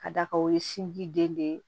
Ka da kan o ye sin ji den de ye